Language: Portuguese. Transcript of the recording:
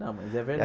Não, mas é